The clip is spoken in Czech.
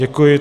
Děkuji.